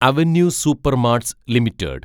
avenue supermarts limited